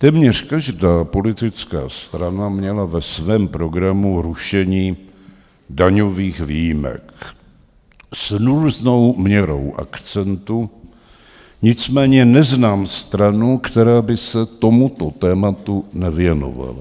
Téměř každý politická strana měla ve svém programu rušení daňových výjimek s různou měrou akcentu, nicméně neznám stranu, která by se tomuto tématu nevěnovala.